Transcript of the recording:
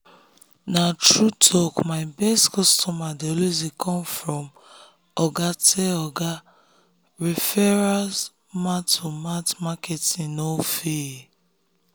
na true talk my best customers dey always come from oga tell oga referrals mouth-to-mouth marketing no fail.